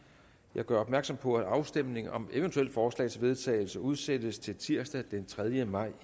jeg gør opmærksom på at afstemning om eventuelle forslag til vedtagelse udsættes til tirsdag den tredje maj to